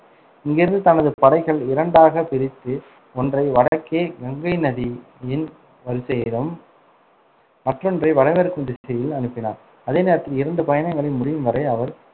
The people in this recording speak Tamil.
இங்கிருந்து தனது படைகள் இரண்டாகப் பிரித்து ஒன்றை வடக்கே கங்கை நதியின் வரிசையிலும் மற்றொன்றை வடமேற்கு திசையில் அனுப்பினான். அதே நேரத்தில், இரண்டு பயணங்களை முடியும் வரை அவர்